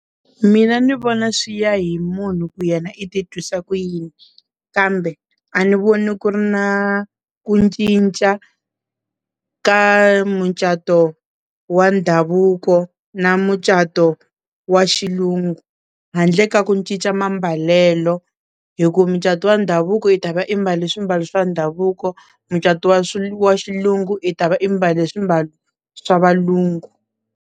Mina ni vona swi ya hi munhu ku yena i titwisa ku yini kambe a ni voni ku ri na ku ncinca ka mucato wa ndhavuko na mucato wa xilungu handle ka ku ncinca mambalelo hi ku mucato wa ndhavuko i ta va i mbala swimbalo swa ndhavuko mucato wa swilo wa xilungu i ta va i mbala swimbalo swa valungu.